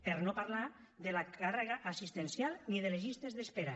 per no parlar de la càrrega assistencial ni de les llistes d’espera